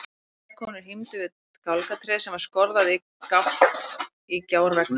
Tvær konur hímdu við gálgatréð sem var skorðað í gátt í gjárveggnum.